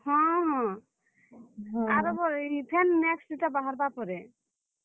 ହଁ ହଁ, noise ଆର୍ ଏଛେନ୍ next ଇଟା ବାହାର୍ ବା ପରେ ।